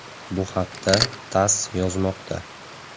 Bu haqda “TASS” yozmoqda .